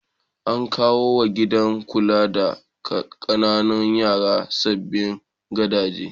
An kawo wa gidan kula da ƙananan yara sabbin gadaje.